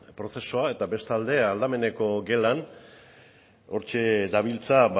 prozesua eta beste aldetik aldameneko gelan hortxe dabiltza